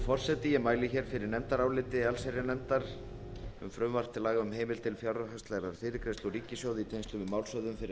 forseti ég mæli fyrir nefndaráliti allsherjarnefndar um frumvarp til laga um heimild til fjárhagslegrar fyrirgreiðslu úr ríkissjóði í tengslum við málshöfðun fyrir